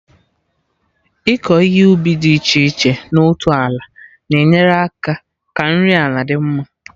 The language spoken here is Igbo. Ịkọ ihe ubi dị iche iche na otu ala na enyere aka ka nri ala dị mma